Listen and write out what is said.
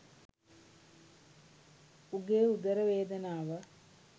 උගේ උදර වේදනාව